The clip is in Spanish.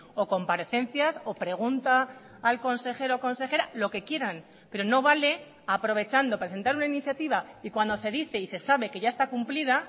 o comparecencias o pregunta al consejero consejera lo que quieran pero no vale aprovechando presentar una iniciativa y cuando se dice y se sabe que ya está cumplida